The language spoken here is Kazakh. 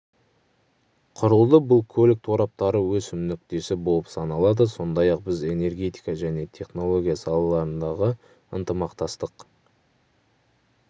құрылды бұл көлік тораптары өсім нүктесі болып саналады сондай-ақ біз энергетика және технология салаларындағы ынтымақтастық